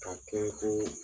K'a kɛ ko